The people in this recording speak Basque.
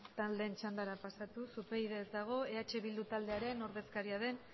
taldeen txandara pasatuz upyd ez dago eh bildu taldearen ordezkaria den